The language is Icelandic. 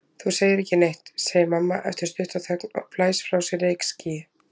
Þú segir ekki neitt, segir mamma eftir stutta þögn og blæs frá sér reykskýi.